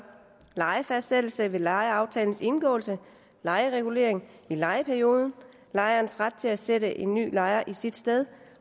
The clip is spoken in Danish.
lejefastsættelse ved lejeaftalens indgåelse lejeregulering i lejeperioden lejers ret til at sætte en ny lejer i sit sted